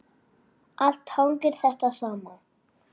Allt hangir þetta saman.